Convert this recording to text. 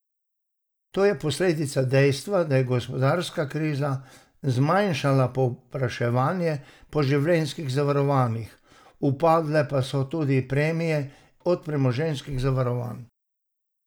To je posledica dejstva, da je gospodarska kriza zmanjšala povpraševanje po življenjskih zavarovanjih, upadle pa so tudi premije od premoženjskih zavarovanj.